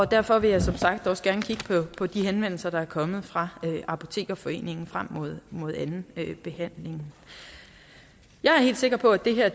derfor vil jeg som sagt også gerne kigge på de henvendelser der er kommet fra apotekerforeningen frem mod mod anden behandling jeg er helt sikker på at det her